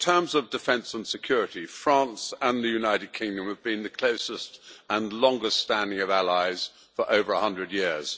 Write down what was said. In terms of defence and security, France and the United Kingdom have been the closest and longest standing of allies for over a hundred years.